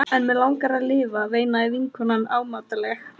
En mig langar að lifa, veinaði vinkonan ámátlega.